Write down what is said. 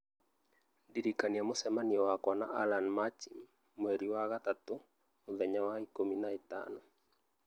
Ndĩrikania mũcemanio wakwa na Allan MachimMweri wa gatatũ mũthenya wa ikũmi na ĩtano